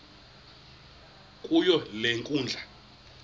kuyo le nkundla